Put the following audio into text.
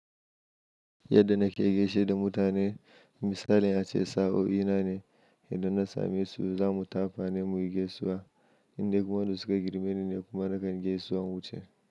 Yadda nake gaishe da mutane misalin ya ce sa'o'i nane yadda na same su, za mu tafa ne muyi gaisuwa. Indai kuma wadanda su ka girme ni ne kuma na kan gaisuwa inwuce.